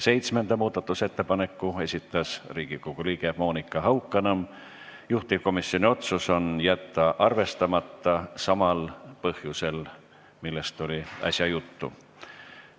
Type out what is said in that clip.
Seitsmenda muudatusettepaneku on esitanud Riigikogu liige Monika Haukanõmm, juhtivkomisjoni otsus on jätta arvestamata samal põhjusel, millest oli äsja juttu.